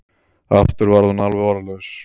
Aftur varð hún alveg orðlaus.